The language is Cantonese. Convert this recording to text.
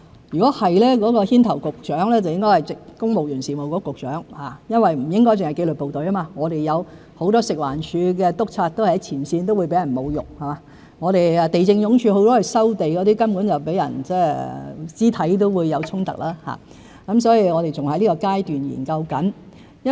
如果是，牽頭的局長應該是公務員事務局局長，因為不應只是紀律部隊，很多食物環境衞生署的督察也在前線，也會被侮辱；地政總署負責收地的同事甚至會遇到肢體衝突，所以我們還在研究階段中。